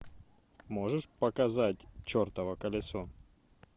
можешь показать чертово колесо